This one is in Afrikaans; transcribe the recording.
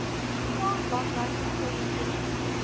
tuna langlyn eksperimentele